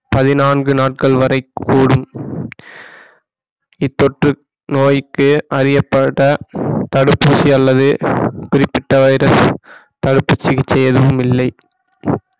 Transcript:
பதினான்கு நாட்கள் வரை கூடும் இத்தொற்று நோய்க்கு அறியப்பட்ட தடுப்பூசி அல்லது குறிப்பிட்ட வைரஸ் தடுப்பு சிகிச்சை எதுவும் இல்லை